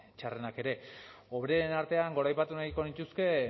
txarrenak ere hoberenen artean goraipatu nahiko nituzke